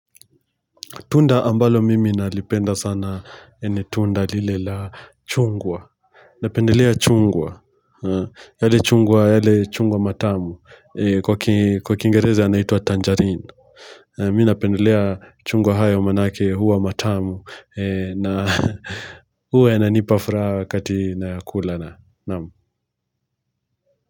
Tunda ambalo mimi nalipenda sana ni tunda lile la chungwa. Napendelea chungwa. Yale chungwa matamu. Kwa kingereza anaitwa tangerine. Mimi napendelea chungwa hayo manake huwa matamu. Na huwa inanipa furaha wakati na kula na, na'am.